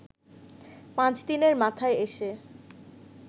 পাঁচ দিনের মাথায় এসে